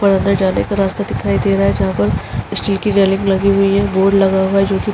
पर अंदर जाने का रास्ता दिखाई दे रहा है। जहाँ पर स्टील की रेलिंग लगी हुई है। बोर्ड लगा हुआ है जोकि --